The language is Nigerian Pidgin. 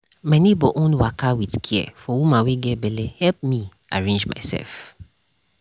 my neighbor own waka with care for woman wey get belle help me arrange myself